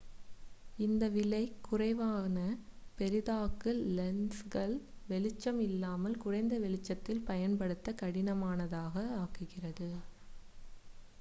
இந்த விலை குறைவான பெரிதாக்கு லென்ஸ்கள் வெளிச்சம் இல்லாமல் குறைந்த வெளிச்சத்தில் பயன்படுத்த கடினமானதாக ஆக்குகிறது